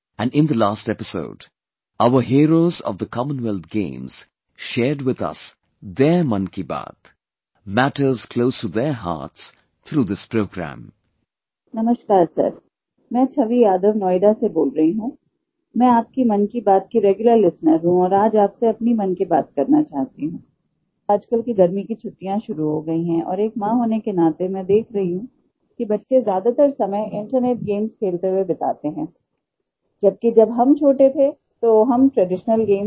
And in the last episode, our heroes of the Commonwealth Games shared with us their 'Mann Ki Baat', matters close to their hearts through this programme